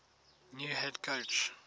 new head coach